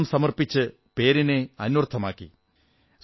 ഇന്നലെ സിസ്റ്റർ നിവേദിതയുടെ നൂറ്റി അമ്പതാം ജന്മ വാർഷികദിനമായിരുന്നു